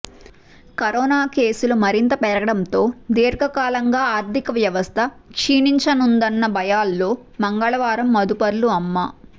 corona కేసులు మరింత పెరగడంతో దీర్ఘకాలంగా ఆర్థిక వ్యవస్థ క్షీణించనుందన్న భయాల్లో మంగళవారమూ మదుపర్లు అమ్మ